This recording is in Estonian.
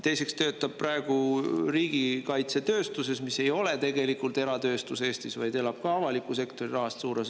Teiseks, ta töötab praegu riigikaitsetööstuses, mis ei ole Eestis tegelikult eratööstus, vaid elab suures osas avaliku sektori rahast.